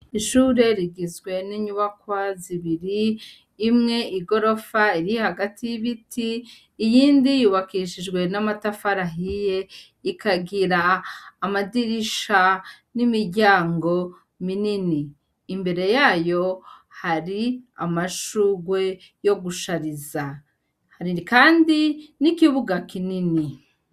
Ishure rigizwe ninyubakwa zibiri imwe igorofa iri hagati yibiti iyindi yubakishijwe n'amatafari ahiye ikagira amadirisha n'imiryango minini. Imbere yayo hari amashurwe yo gushariza hari kandi n'ikibuga kinini.